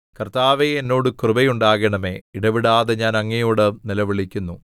കർത്താവേ എന്നോട് കൃപയുണ്ടാകണമേ ഇടവിടാതെ ഞാൻ അങ്ങയോട് നിലവിളിക്കുന്നു